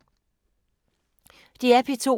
DR P2